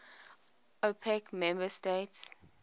opec member states